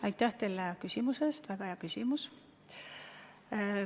Aitäh teile küsimuse eest, ka see on väga hea küsimus!